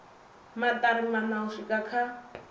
maṱari maṋa u swika kha